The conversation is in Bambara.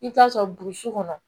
I bɛ taa sɔrɔ burusi kɔnɔ